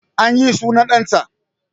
An yi sunan ɗan ta